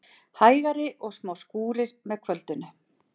Hægari og smá skúrir með kvöldinu